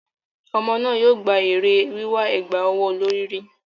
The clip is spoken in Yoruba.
Ọmọ náà yóò gba èrè wíwà ẹ̀gbà ọwọ́ olorì rí.